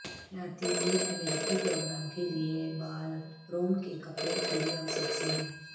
لاطینی امریکی پروگرام کے لئے بال روم کے کپڑے کھلی اور سیکسی ہیں